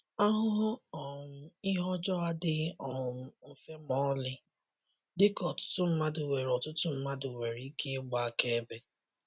Ahụhụ um ihe ọjọọ adịghị um mfe ma ọlị, dịka ọtụtụ mmadụ nwere ọtụtụ mmadụ nwere ike ịgba akaebe.